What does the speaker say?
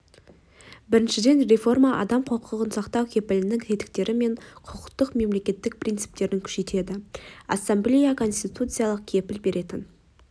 біріншіден реформа адам құқығын сақтау кепілінің тетіктері мен құқықтық мемлекет принциптерін күшейтеді ассамблея конституция кепіл беретін